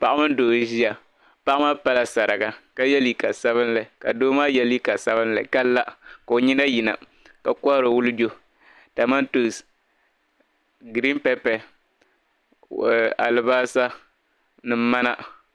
Paɣa mini doo n-ʒiya paɣa maa pala sariga ka ye liiga sabinli ka doo maa ye liiga sabinli ka la ka o nyina yina ka kohiri wulijo kamantoonsi "green pepper" alibalisa ni mana.